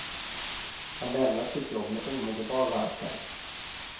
Han lämnar sitt jobb med omedelbar verkan.